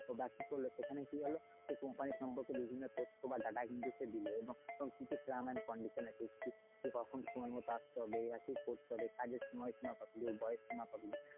বাকি করল সেখানে কি হলো সে company সম্পর্কে বিভিন্ন তথ্য বা data সে কিন্তু দিলো। এবং কি terms and conditions আছে, কি কখন সময় মতো আস্তে হবে? কি করতে হবে? কাজের সময়সীমা কতদূর? বয়েস সীমা কতদূর?